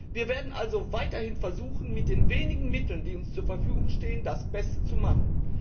Wir werden also weiterhin versuchen, mit den wenigen Mitteln, die uns zur Verfügung stehen, das Beste zu machen.